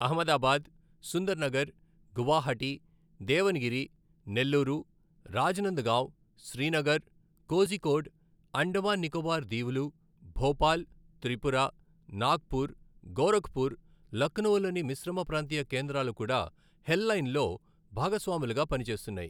అహ్మదాబాద్, సుందర్నగర్, గువాహటి, దేవన్గిరి, నెల్లూరు, రాజ్నందగావ్, శ్రీనగర్, కోజికోడ్, అండమాన్ నికోబార్ దీవులు, భోపాల్, త్రిపుర, నాగ్పుర్, గోరఖ్పూర్, లఖ్నవూలోని మిశ్రమ ప్రాంతీయ కేంద్రాలు కూడా హెల్లైన్లో భాగస్వాములుగా పనిచేస్తున్నాయి.